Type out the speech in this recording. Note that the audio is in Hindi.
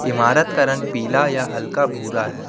इमारत का रंग पीला या हल्का भूरा है।